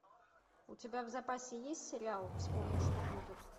у тебя в запасе есть сериал вспомни что будет